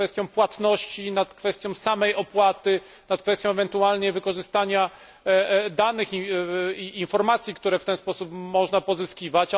na kwestii płatności, na kwestii samej opłaty, na kwestii ewentualnie wykorzystania danych i informacji, które w ten sposób można pozyskiwać.